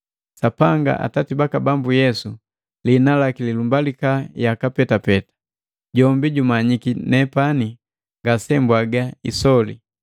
Sapanga, Atati baka Bambu Yesu, liina laki lilumbalika yaka petapeta, jombi jumanyiki nepani ngasembwaga isoli.